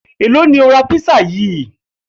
Èló ni o ra písà yìí?